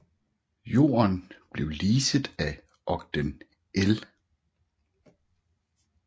Jorden blev leaset af Ogden L